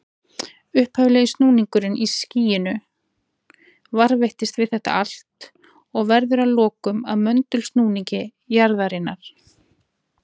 Upphaflegi snúningurinn í skýinu varðveitist við þetta allt og verður að lokum að möndulsnúningi jarðarinnar.